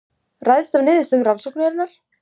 Ræðst af niðurstöðu rannsóknarinnar